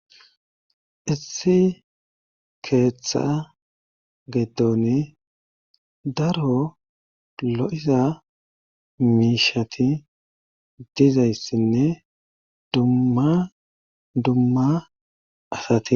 Issi keeththa geeton daro lo'iza miishati dizayssinne dumma dumma asati.